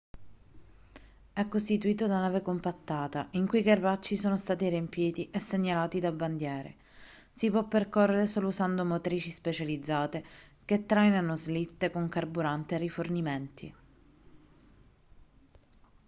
è costituito da neve compattata in cui i crepacci sono stati riempiti e segnalati da bandiere si può percorrere solo usando motrici specializzate che trainano slitte con carburante e rifornimenti